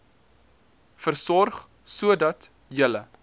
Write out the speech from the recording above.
versorg sodat julle